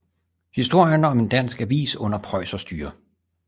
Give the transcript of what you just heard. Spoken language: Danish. Historien om en dansk avis under prøjserstyre